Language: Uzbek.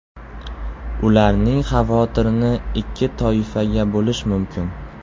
Ularning xavotirini ikki toifaga bo‘lish mumkin.